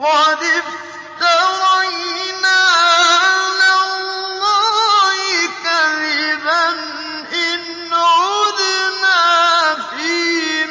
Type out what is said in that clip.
قَدِ افْتَرَيْنَا عَلَى اللَّهِ كَذِبًا إِنْ عُدْنَا فِي